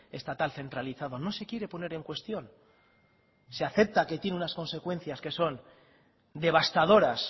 estatal centralizado no se quiere poner en cuestión se acepta que tiene unas consecuencias que son devastadoras